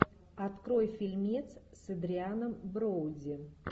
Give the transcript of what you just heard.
открой фильмец с адрианом броуди